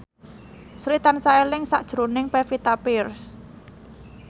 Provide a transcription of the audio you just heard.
Sri tansah eling sakjroning Pevita Pearce